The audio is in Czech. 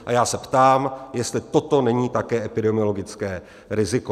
A já se ptám, jestli toto také není epidemiologické riziko.